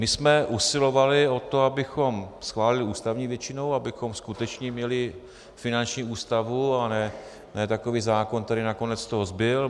My jsme usilovali o to, abychom schválili ústavní většinou, abychom skutečně měli finanční ústavu a ne takový zákon, který nakonec z toho zbyl.